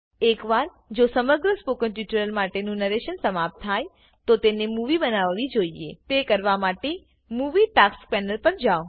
એક વાર જો સમગ્ર સ્પોકન ટ્યુટોરીયલ માટે નું નરેશન સમાપ્ત થાય તો તમને મુવી બનાવી જોઈએ તે કરવા માટે મૂવી ટાસ્ક્સ Panelપર જાવ